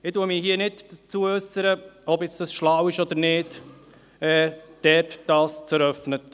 Ich äussere mich hier nicht dazu, ob das schlau ist oder nicht, dort ein Asylzentrum zu eröffnen.